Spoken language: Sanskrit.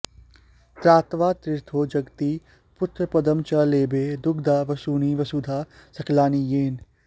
त्रात्वार्थितो जगति पुत्रपदं च लेभे दुग्धा वसूनि वसुधा सकलानि येन